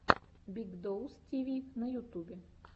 биг доус ти ви на ютубе